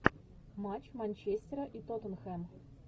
матч манчестера и тоттенхэм